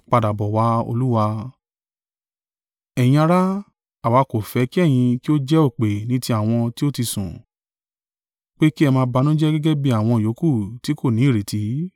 Ẹ̀yin ará, àwa kò fẹ́ kí ẹ̀yin kí ó jẹ́ òpè ní ti àwọn tí ó ti sùn, pé kí ẹ máa banújẹ́ gẹ́gẹ́ bí àwọn yòókù tí kò ní ìrètí.